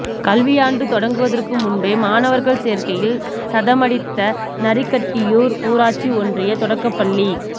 கல்வியாண்டு தொடங்குவதற்கு முன்பே மாணவர் சேர்க்கையில் சதமடித்த நரிக்கட்டியூர் ஊராட்சி ஒன்றிய தொடக்கப்பள்ளி